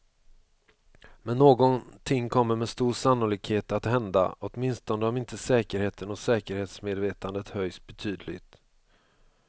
Men någonting kommer med stor sannolikhet att hända, åtminstone om inte säkerheten och säkerhetsmedvetandet höjs betydligt.